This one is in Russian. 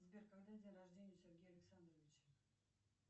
сбер когда день рождения у сергея александровича